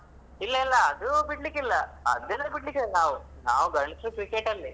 ಇಲ್ಲ ಇಲ್ಲ. ಅದು ಬಿಡ್ಲಿಕ್ಕೆ ಇಲ್ಲ ಅದೆಲ್ಲ ಬಿಡಲಿಕ್ಕಿಲ್ಲ ನಾವು ನಾವು ಗಂಡಸ್ರು cricket ಲ್ಲೇ.